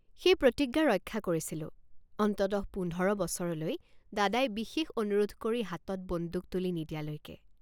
সেই প্ৰতিজ্ঞা ৰক্ষা কৰিছিলোঁ অন্ততঃ পোন্ধৰ বছৰলৈ দাদাই বিশেষ অনুৰোধ কৰি হাতত বন্দুক তুলি নিদিয়ালৈকে।